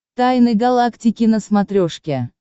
тайны галактики на смотрешке